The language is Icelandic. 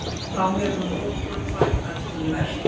Þá hefur munkum fækkað töluvert